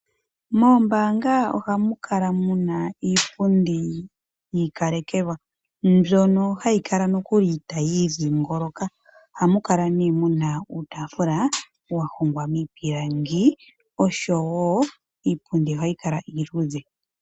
Moombanga oha mu kala muna iipundi yi ika lekelwa mbyono hayi kala nokuli tayi idhingoloka, oha mu kala ne muna uutafula wa hongwa miipilangi oshowo iipundi ohayi kala iiludhe.